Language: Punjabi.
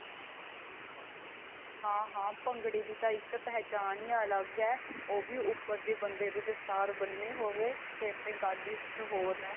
ਹਾਂ ਹਾਂ ਭੰਗੜੇ ਦੀ ਤਾਂ ਇੱਕ ਪਹਿਚਾਨ ਈ ਅਲੱਗ ਏ ਉਹ ਵੀ ਉਪਰ ਜੇ ਬੰਦੇ ਦੇ ਦਸਤਾਰ ਬੰਨੀ ਹੋਵੇ ਫੇਰ ਤੇ ਗੱਲ ਈ ਕੁੱਝ ਹੋਰ ਏ.